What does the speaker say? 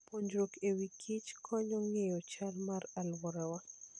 Puonjruok e wi kich konyowa ng'eyo chal mar alworawa.